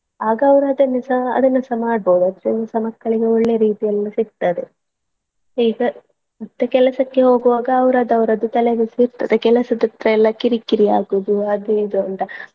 ಆಗ ಅವರನ್ನು ಅದನ್ನು ಸಹ ಅದನ್ನು ಸಹ ಮಾಡ್ಬೋದು ಅದ್ರಲ್ಲಿ ಸಹ ಮಕ್ಕಳಿಗೆ ಒಳ್ಳೆ ರೀತಿಯಲ್ಲಿ ಎಲ್ಲ ಸಿಕ್ತದೆ ಈಗ ಮತ್ತೆ ಕೆಲ್ಸಕ್ಕೆ ಹೋಗುವಾಗ ಅವರದ್ದು ಅವರದ್ದು ತಲೆಬಿಸಿ ಇರ್ತದೆ ಕೆಲ್ಸದ್ದೆಲ್ಲಾ ಕಿರ್ಕಿರಿಯಾಗುವುದು ಅದು ಇದು ಅಂತ.